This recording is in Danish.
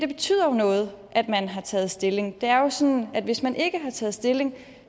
betyder noget at man har taget stilling det er jo sådan at hvis man ikke har taget stilling